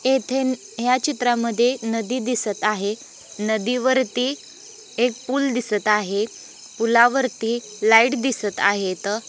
येथे या चित्रामद्ये नदी दिसत आहे नदी वरती एक पूल दिसत आहे पुलावरती लाईट दिसत आहेत.